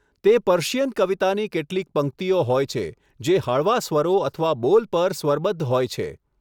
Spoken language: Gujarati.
તે પર્શિયન કવિતાની કેટલીક પંક્તિઓ હોય છે, જે હળવા સ્વરો અથવા બોલ પર સ્વરબદ્ધ હોય છે.